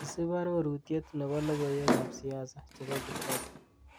isip ororutyet nepo logoiwekab siasa chebo kibaki